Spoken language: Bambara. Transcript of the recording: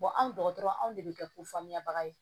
anw dɔgɔtɔrɔ anw de bɛ kɛ ko faamuyabaga ye